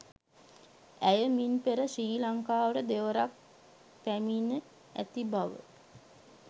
ඇය මින් පෙර ශ්‍රී ලංකාවට දෙවරක් පැමිණ ඇති බව